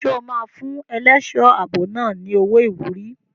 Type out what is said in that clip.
Ṣé o máa fún ẹlẹ́ṣọ̀ ààbò náà ní owó ìwúrí?